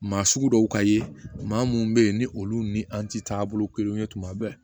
Maa sugu dɔw ka ye maa munnu bɛ ye ni olu ni an ti taa bolo kelenw ye tuma bɛɛ